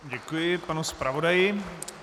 Děkuji panu zpravodaji.